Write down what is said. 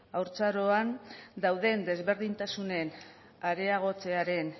haurtzaroan dauden desberdintasunen areagotzearen